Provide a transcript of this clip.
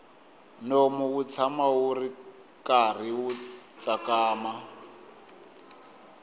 nomu wu tshama wu karhi wu tsakama